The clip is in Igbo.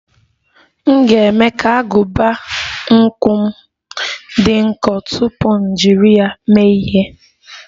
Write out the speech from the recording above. M ga-eme ka agụba nkwọ m dị nkọ tupu m jiri ya mee ihe.